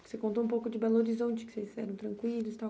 Você contou um pouco de Belo Horizonte, que vocês eram tranquilos e tal.